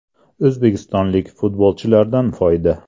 O‘zbekistonlik futbolchilardan foyda.